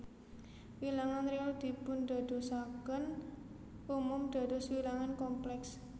Wilangan réal dipundadosaken umum dados wilangan komplèks